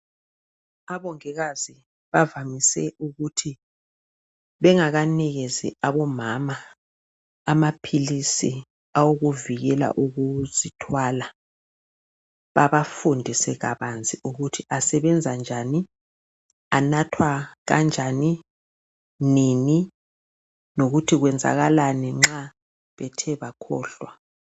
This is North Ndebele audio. Abongikazi bavamise ukuthi bengakanikezi omama amaphilisi owokuvikela ukuzithwala, babafundise kabanzi, kuthi asebenza njani, anathwa kanjani, nini. Lokuthi kwenzakala nxa bethe bakhohlwa. .